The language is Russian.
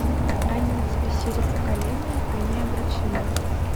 они взбесили поколение они обречены